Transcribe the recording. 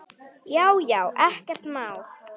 Já já, ekkert mál.